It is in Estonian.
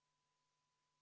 V a h e a e g